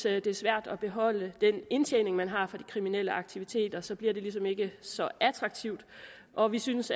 er svært at beholde den indtjening man har fra de kriminelle aktiviteter så bliver det ligesom ikke så attraktivt og vi synes